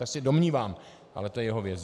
To se domnívám, ale to je jeho věc.